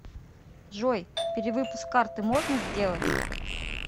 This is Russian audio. джой перевыпуск карты можно сделать